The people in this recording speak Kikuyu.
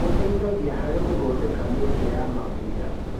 Gĩteithagia harĩ gũthondeka mĩeke ya mawĩra.